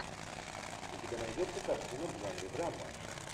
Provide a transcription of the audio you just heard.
у тебя найдется картина в жанре драма